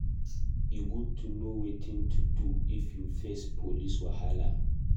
E good to know wetin to do if you face police wahala.